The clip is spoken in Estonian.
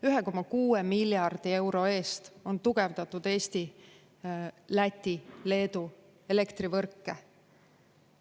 1,6 miljardi euro eest on tugevdatud Eesti-Läti-Leedu elektrivõrke.